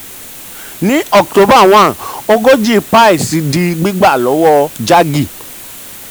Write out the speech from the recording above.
ní october one ogójì paise di gbígbà lọ́wọ́ jaggi.